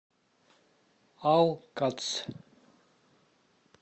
алкац